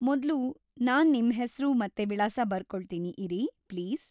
ಮೊದ್ಲು, ನಾನ್ ನಿಮ್ಮ್ ಹೆಸ್ರು ಮತ್ತೆ ವಿಳಾಸ ಬರ್ಕೊಳ್ತೀನಿ ಇರಿ, ಪ್ಲೀಸ್.